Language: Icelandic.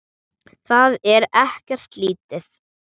Það er ekkert lítið!